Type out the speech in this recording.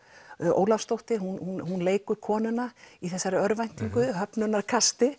Ólafsdóttir hún leikur konuna í þessari örvæntingu